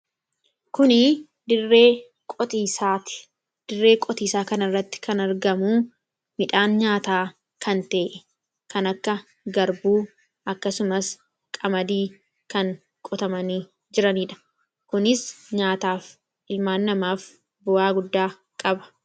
Kun dirree qotiisaati. Kana irratti kan argamu midhaan nyaataa kan ta'e kan akka garbuu akkasumas qamadii kan qotamanii jiraniidha kunis nyaataaf ilmaan namaaf bu'aa guddaa qaba.